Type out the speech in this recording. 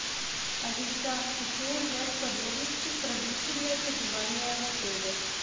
алиса хочу узнать подробности про длительное пребывание в отеле